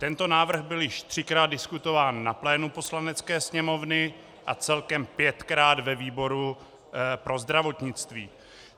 Tento návrh byl již třikrát diskutován na plénu Poslanecké sněmovny a celkem pětkrát ve výboru pro zdravotnictví.